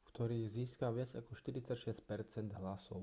v ktorých získal viac ako 46 percent hlasov